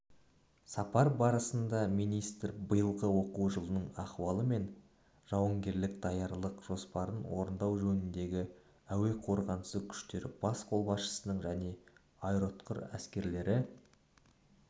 сапар барысында министр биылғы оқу жылының ахуалы мен жауынгерлік даярлық жоспарын орындау жөніндегі әуе қорғанысы күштері бас қолбасшысының және аэроұтқыр әскерлері